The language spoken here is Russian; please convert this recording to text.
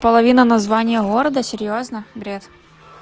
половина названия города серьёзно бред